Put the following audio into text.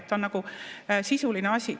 See on nagu sisuline asi.